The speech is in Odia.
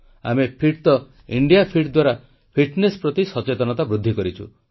ଆମେ ଫିଟ୍ ତ ଇଣ୍ଡିଆ ଫିଟ୍ ଦ୍ୱାରା ଫିଟ୍ନେସ୍ ପ୍ରତି ସଚତେନତା ବୃଦ୍ଧି କରିଛୁ